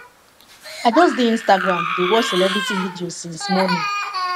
i just dey instagram dey watch celebrity videos since morning